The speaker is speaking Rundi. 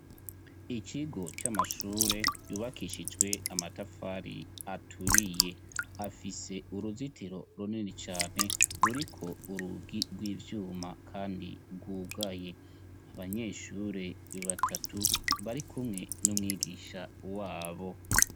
Ikigo c'amashure yubakishijwe amatafari aturiye afise uruzitiro runini cane ruriko urugi rw'ivyuma kandi rwugaye. Abanyeshure batatu barikumwe n'umwigisha wabo.